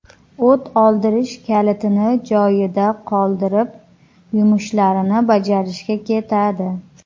O‘t oldirish kalitini joyida qoldirib, yumushlarini bajarishga ketadi.